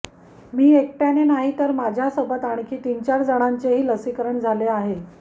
मी एकट्याने नाही तर माझ्या सोबत आणखी तीन चार जणांचेही लसीकरण झाले आहे